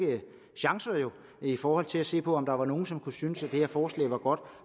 chancer i forhold til at se på om der var nogen som kunne synes at det her forslag var godt